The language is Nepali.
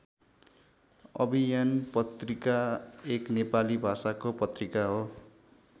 अभियान पत्रिका एक नेपाली भाषाको पत्रिका हो।